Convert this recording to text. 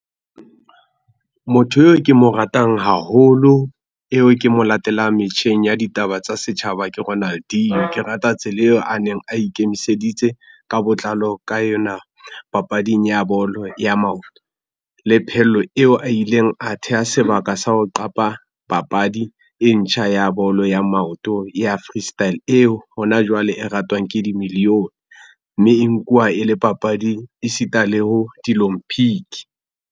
Motho eo ke mo ratang haholo, eo ke mo latelang metjheng ya ditaba tsa setjhaba ke Ronaldino. Ke rata tsela eo a neng a ikemiseditse ka botlalo ka yona papading ya bolo ya maoto, le phello eo a ileng a theha sebaka sa ho qapa papadi e ntjha ya bolo ya maoto ya freestyle eo hona jwale e ratwang ke di million, mme e nkuwa e le papadi e sita le ho di-olympic.